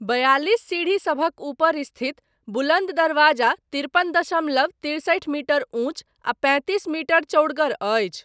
बयालिस सीढ़िसभक ऊपर स्थित बुलन्द दरवाजा तिरपन दशमलव तिरसठि मीटर उंच आ पैतिस मीटर चौड़गर अछि।